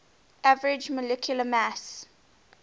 average molecular mass